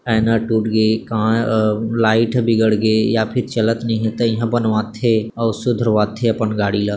आईना टूट गे का लाइट ह बिगड़ गे या फिर चलत नई हे त इहाँ बनवाथे अऊ सुधरवाथे अपन गाड़ी ल--